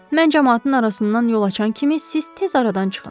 Mən camaatın arasından yol açan kimi siz tez aradan çıxın.